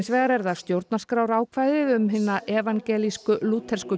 vegar er það stjórnarskrárákvæðið um að hin evangelíska lúterska